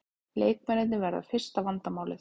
Leikmennirnir verða fyrsta vandamálið